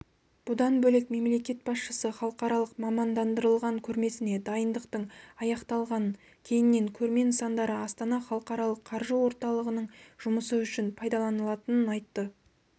бұдан бөлек мемлекет басшысы халықаралық мамандандырылған көрмесіне дайындықтың аяқталғанын кейіннен көрме нысандары астана халықаралық қаржы орталығының жұмысы үшін пайдаланылатынын айтты